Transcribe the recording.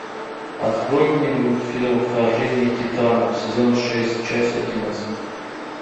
открой мне мультфильм вторжение титанов сезон шесть часть одиннадцать